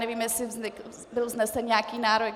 Nevím, jestli byl vznesen nějaký návrh.